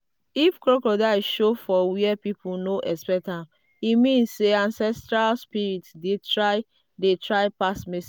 if crocodile show for where people no expect am e mean say ancestral spirit dey try dey try pass message.